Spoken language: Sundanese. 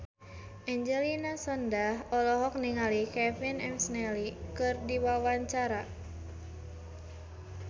Angelina Sondakh olohok ningali Kevin McNally keur diwawancara